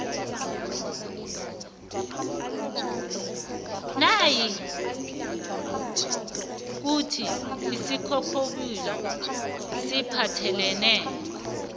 nayikuthi isinghonghoyilo siphathelene